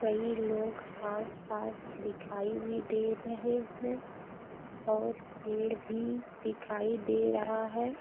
कई लोग आसपास दिखाई भी दे रहे हैं और पेड़ भी दिखाई दे रहा है।